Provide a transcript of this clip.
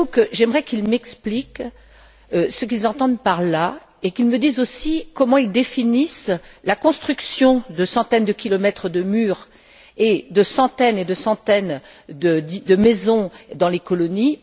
J'aimerais qu'ils m'expliquent ce qu'ils entendent par là et qu'ils me disent aussi comment ils définissent la construction, par Israël, de centaines de kilomètres de mur et de centaines et de centaines de maisons dans les colonies.